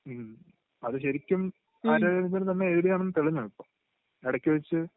മ്..അത് ശരിക്കും ആര്യാ രാജേന്ദ്രൻ തന്നെ എഴുതിയതാണെന്ന് തെളിഞ്ഞോ ഇപ്പൊ? ഇടയ്ക്കുവച്ച്...